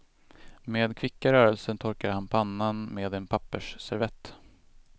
Med kvicka rörelser torkar han pannan med en pappersservett.